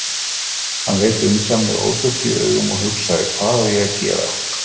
Hann leit undan með ofbirtu í augum og hugsaði: Hvað á ég að gera?